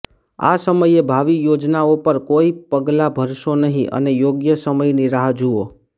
આ સમયે ભાવિ યોજનાઓ પર કોઈ પગલા ભરશો નહીં અને યોગ્ય સમયની રાહ જુઓ